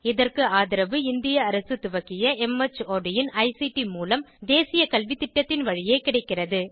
இதற்கு ஆதரவு இந்திய அரசு துவக்கிய மார்ட் இன் ஐசிடி மூலம் தேசிய கல்வித்திட்டத்தின் வழியே கிடைக்கிறது